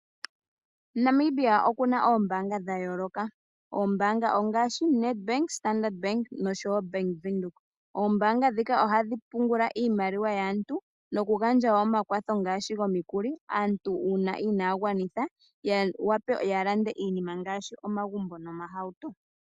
Namibia okuna oombaanga dhayooloka ngaashi Nedbank, Standard bank oshowo bank Windhoek. Ombaanga ndhika ohadhi pungula iimaliwa yaantu oshowo oku gandja omakwatho ngaashi gomikuli aantu uuna inaya gwanitha yawape okulanda iinima ngaashi omagumbo noshowo omahauto.